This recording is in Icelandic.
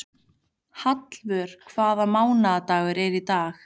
Hallvör, hvaða mánaðardagur er í dag?